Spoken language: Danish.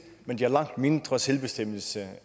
men de har langt mindre selvbestemmelse